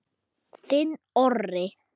Þinn Orri.